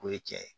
K'o ye cɛ ye